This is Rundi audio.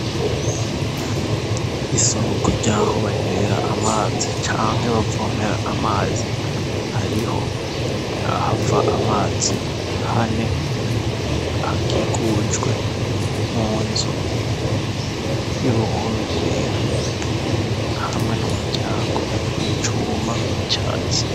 Isonguko ryaho banywera amazi canke bavomera amazi hariho ah ava amazi hane hakikujwe mu nzo y'uruhome rwera hamwe n'umuryango w'icuwa guma u catsi.